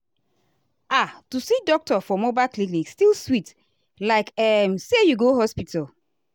ah to see doctor for mobile clinic still sweet like um say you go hospital.